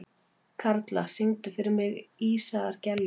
Karla, syngdu fyrir mig „Ísaðar Gellur“.